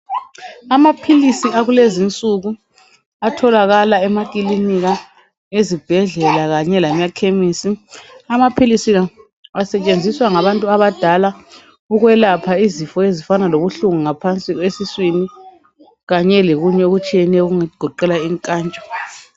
Amaphilisi akulezi nsuku atholakala emakilinika, ezibhedlela kanye lama khemisi, amaphilisi la asetshenziswa ngabantu abadala ukwelapha izifo ezifana lobuhlungu ngaphansi esiswini kanye lokunye okutshiyeneyo okugoqela inkantsho.